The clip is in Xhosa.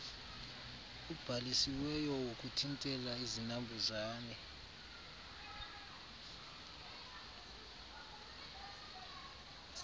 ubhalisiweyo wokuthintela izinambuzane